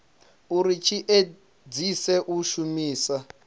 uri tshi edzise u shumisa